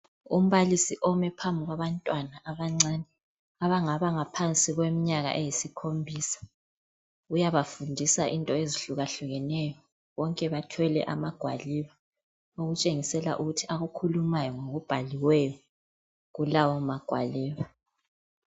Umbalisi omi phambi kwabantwana abancane abangaba ngaphansi kweminyaka eyisikhombisa. Uyabafundisa into ezihlukeneyo. Bonke bathwele amagwaliba okutshengisela ukuthi akukhulumayo ngokubhaliweyo kulawo magwaliba.